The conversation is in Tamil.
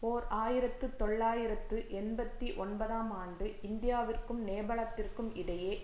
ஓர் ஆயிரத்தி தொள்ளாயிரத்து எண்பத்தி ஒன்பதாம் ஆண்டு இந்தியாவிற்கும் நேபாளத்திற்கும் இடையே